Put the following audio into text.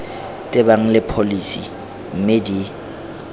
tebang le pholesi mme di